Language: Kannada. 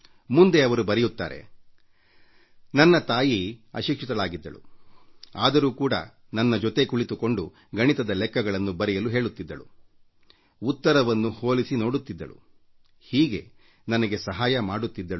ಮುಂದುವರಿದು ಅವರು ಬರೆಯುತ್ತಾರೆ ನನ್ನ ತಾಯಿ ಅಶಿಕ್ಷಿತಳಾಗಿದ್ದಳು ಆದರೂ ಕೂಡ ನನ್ನ ಜೊತೆ ಕುಳಿತುಕೊಂಡು ಗಣಿತದ ಲೆಕ್ಕಗಳನ್ನು ಮಾಡಲು ಹೇಳುತ್ತಿದ್ದಳು ಉತ್ತರವನ್ನು ಹೋಲಿಸಿ ನೋಡುತ್ತಿದ್ದಳು ಹೀಗೆ ನನಗೆ ಸಹಾಯ ಮಾಡುತ್ತಿದ್ದಳು